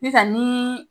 Sisan ni